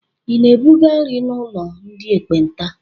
Ị na-ebuga nri n'ụlọ ndị ekpenta?